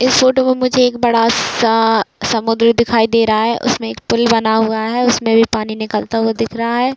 इस फोटो में मुझे एक बड़ा सा समुन्द्र दिखाई दे रहा है उसमें एक पुल बना हुआ है उसमें भी पानी निकलता हुआ दिख रहा है।